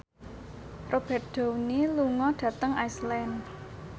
Robert Downey lunga dhateng Iceland